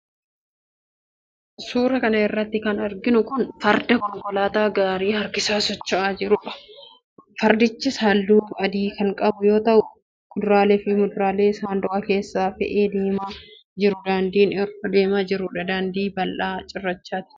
Suura kana irratti kan arginu kun, farda konkolaataa gaarii harkisaa socho'aa jiruudha. Fardich haalluu adii kan qabuu yoo ta.au, kuduraalee fi muduraalee saanduqa keessatti fe'ee deemaa jira. Daandin irra deemaa jiru, daandii bal'aa cirrachaati.